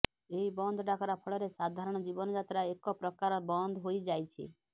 ଏହି ବନ୍ଦ ଡାକରା ଫଳରେ ସାଧାରଣ ଜୀବନଯାତ୍ରା ଏକ ପ୍ରକାର ବନ୍ଦ ହୋଇଯାଇଛି